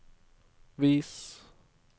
vis